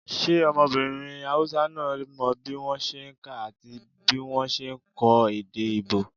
ṣe ọmọbirin Hausa náà mọ bí wọ́n ṣe n kà àti bí wọ́n ṣe n kọ èdè íbò?